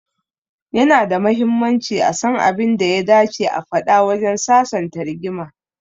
Ya na da mahimmanci a san abin da ya dace a faɗa wajen sasanta rigima.